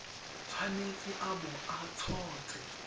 tshwanetse a bo a tshotse